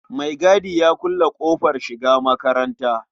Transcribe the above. Maigadi ya kulle ƙofar shiga makatanta.